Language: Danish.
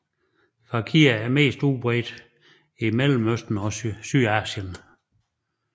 Fakirer er mest udbredt i mellemøsten og sydasien